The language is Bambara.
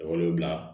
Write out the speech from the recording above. Wolo bila